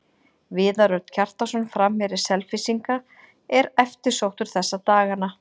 Viðar Örn Kjartansson, framherji Selfyssinga, er eftirsóttur þessa dagana.